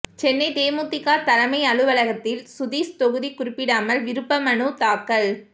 சென்னை தேமுதிக தலைமை அலுவலகத்தில் சுதீஷ் தொகுதி குறிப்பிடாமல் விருப்பமனு தாக்கல்